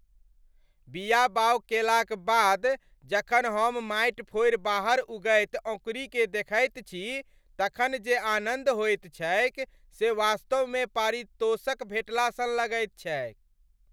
बीया बाउग केलाक बाद जखन हम माटि फोड़ि बाहर उगैत अँकुड़ीकेँ देखैत छी तखन जे आनन्द होइत छैक से वास्तवमे पारितोषक भेटला सन लगैत छैक।